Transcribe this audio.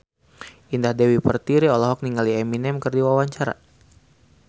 Indah Dewi Pertiwi olohok ningali Eminem keur diwawancara